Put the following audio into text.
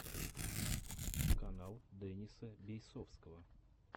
канал дениса бейсовского